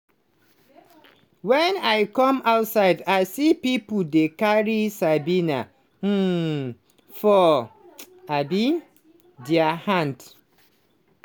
"wen i come outside i see pipo dey carry sabina um for um dia hand.